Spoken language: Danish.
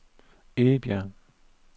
Egebjerg